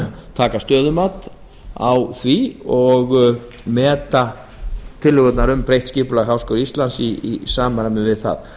taka stöðumat á því og meta tillögurnar um breytt skipulag háskóla íslands í samræmi við það